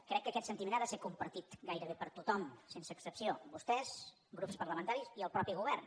crec que aquest sentiment ha de ser compartit gairebé per tothom sense excepció vostès grups parlamentaris i el mateix govern